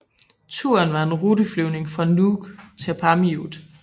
Turen var en ruteflyvning fra Nuuk til Paamiut